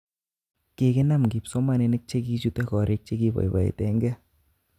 Kikinam kipsomaninik chegichute korik chekipoipoitengee